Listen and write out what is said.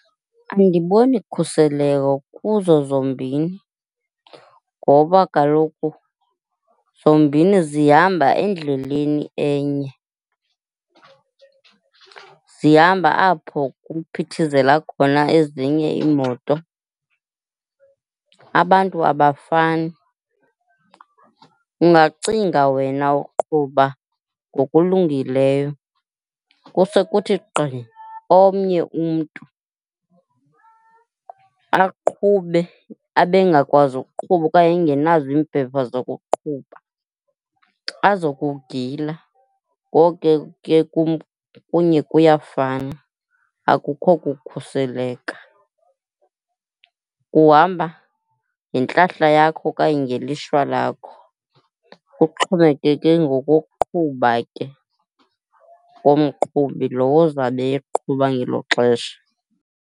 Andiboni khuseleko kuzo zombini ngoba kaloku zombini zihamba endleleni enye, zihamba apho kuphithizela khona ezinye iimoto. Abantu abafani, ungacinga wena ukuqhuba ngokulungileyo kuse kuthi gqi omnye umntu aqhube abe engakwazi ukuqhuba okanye engenazo iimpepha zokuqhuba azo kugila. Ngoko ke kum kunye kuyafana, akukho kukhuseleka. Uhamba ngentlahla yakho okanye ngelishwa lakho. Kuxhomekeke ngokokuqhuba ke komqhubi lo ozabe eqhuba ngelo xesha.